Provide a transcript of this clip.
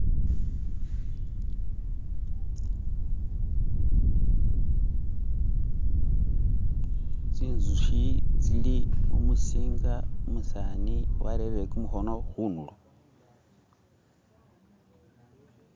tsinzuhi tsili mumusinga umusani warere kumuhono hunulo